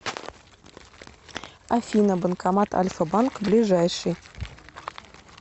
афина банкомат альфа банк ближайший